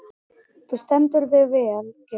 Þú stendur þig vel, Gyrðir!